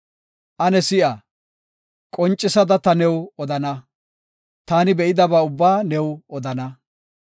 “Ane si7a, qoncisada ta new odana, taani be7idaba ubbaa new odana.